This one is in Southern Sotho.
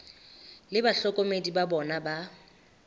le bahlokomedi ba bona ba